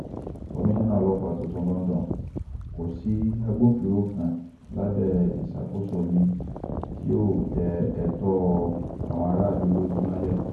komisanna ọlọ́pàá tuntun londo kò sí agbófinró kan lábẹ́ ìṣàkóso mi tí yóò tẹ ẹ̀tọ́ àwọn aráàlú lójú mọ́lẹ̀